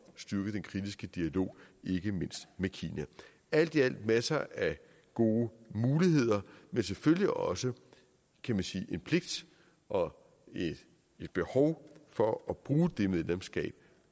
styrke den kritiske dialog ikke mindst med kina alt i alt masser af gode muligheder men selvfølgelig også kan man sige en pligt og et behov for at bruge det medlemskab